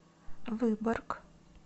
выборг